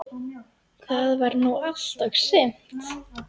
Það var nú allt og sumt.